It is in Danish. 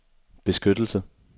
beskyttelse